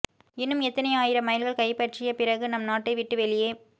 இன்னும் எத்தனை ஆயிரம் மைல்கள் கைப்பற்றிய பிறகு நம் நாட்டை விட்டு வெளியே